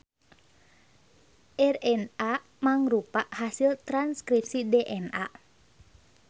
RNA mangrupa hasil transkripsi DNA.